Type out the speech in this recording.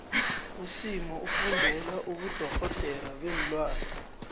usimo ufundela ubudorhodere beenlwane